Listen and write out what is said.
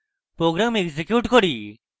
program execute করি